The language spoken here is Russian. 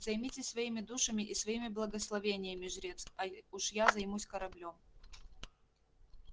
займитесь своими душами и своими благословениями жрец а уж я займусь кораблём